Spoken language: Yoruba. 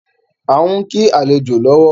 A n kí àlejò lọ́wọ́